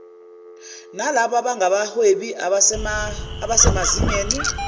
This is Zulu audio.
nalabo abangabahwebi abasemazingeni